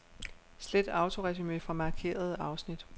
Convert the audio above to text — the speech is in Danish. Slet autoresumé fra markerede afsnit.